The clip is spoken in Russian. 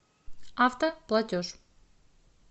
автоплатеж